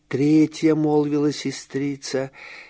третья молвила сестрица